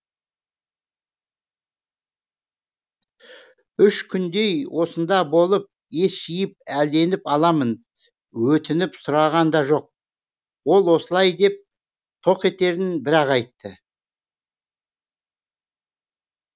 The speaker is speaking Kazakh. үш күндей осында болып ес жиып әлденіп аламын өтініп сұраған да жоқ ол осылай деп тоқетерін бір ақ айтты